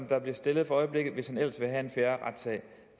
der bliver stillet for øjeblikket hvis han ellers vil have en fair retssag